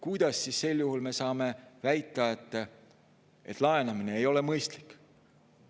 Kuidas me siis sel juhul saame väita, et laenamine ei ole mõistlik?